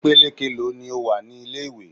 Ìpele keèló ni ó wà ní ilé ìwé?